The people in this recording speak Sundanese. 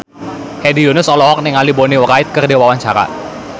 Hedi Yunus olohok ningali Bonnie Wright keur diwawancara